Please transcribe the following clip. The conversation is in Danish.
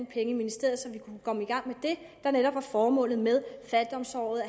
penge i ministeriet så vi kunne komme i gang med det der netop var formålet med fattigdomsåret